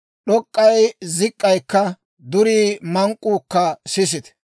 D'ok'k'ay zik'k'aykka, durii mank'k'uukka sisite.